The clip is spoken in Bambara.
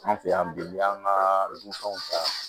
An fɛ yan bi n'i y'an ka dunfɛnw ta